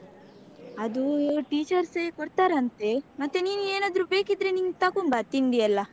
ಅದು teachers ಯೇ ಕೊಡ್ತಾರಂತೆ ಮತ್ತೆ ನೀನು ಏನಾದ್ರು ಬೇಕಿದ್ರೆ ನಿನ್ಗ್ ತಕೊಂಬಾ ತಿಂಡಿ ಎಲ್ಲ.